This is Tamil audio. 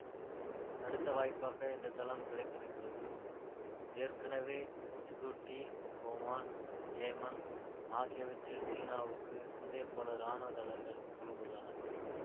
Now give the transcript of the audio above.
அடுத்த வாய்ப்பாக இந்த தளம் கிடைத்திருக்கிறது ஏற்கெனவே சிபூட்டி ஓமான் யேமன் ஆகியவற்றில் சீனாவுக்கு இதே போல ராணுவ தளங்கள் அமைந்துள்ளன